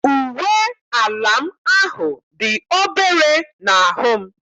Uwe ala m ahụ dị obere n'ahụ m.